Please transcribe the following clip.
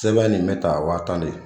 Sɛbɛn nin bɛ ta wa tan de